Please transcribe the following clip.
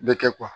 Bɛ kɛ